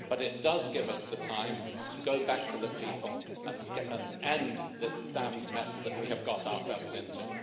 But it does give us the time to go back to the people and end this damned mess that we have got ourselves into.